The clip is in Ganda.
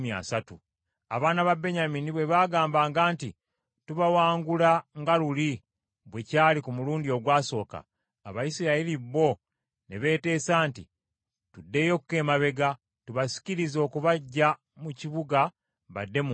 Abaana ba Benyamini bwe baagambanga nti, “Tubawangula nga luli bwe kyali ku mulundi ogwasooka,” Abayisirayiri bo ne beeteesa nti, “Tuddeyoko emabega, tubasikirize okubaggya mu kibuga badde mu nguudo.”